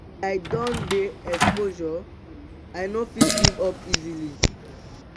as i don dey exposure i no fit give up easily.